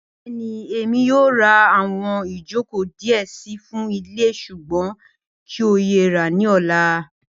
Bẹẹni, Emi yoo ra awọn ijoko diẹ sii fun ile ṣugbọn kii yoo ra ni ọla.